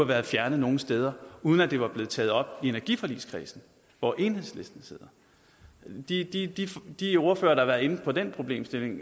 været fjernet nogen steder uden at det var blevet taget op i energiforligskredsen hvor enhedslisten sidder de ordførere der inde på den problemstilling